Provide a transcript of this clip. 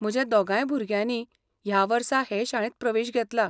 म्हज्या दोगांय भुरग्यांनी ह्या वर्सा हे शाळेंत प्रवेश घेतला.